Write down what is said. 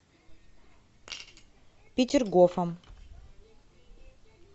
петергофом